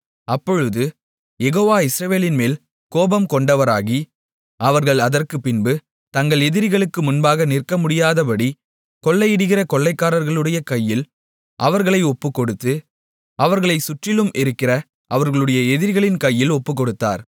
அப்பொழுது யெகோவா இஸ்ரவேலின்மேல் கோபம்கொண்டவராகி அவர்கள் அதற்குப்பின்பு தங்கள் எதிரிகளுக்கு முன்பாக நிற்கமுடியாதபடி கொள்ளையிடுகிற கொள்ளைக்காரர்களுடைய கையில் அவர்களை ஒப்புக்கொடுத்து அவர்களைச் சுற்றிலும் இருக்கிற அவர்களுடைய எதிரிகளின் கையில் ஒப்புக்கொடுத்தார்